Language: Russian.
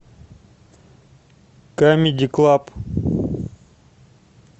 камеди клаб